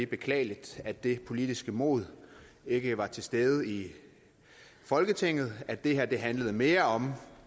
beklageligt at det politiske mod ikke var til stede i folketinget og at det her handlede mere om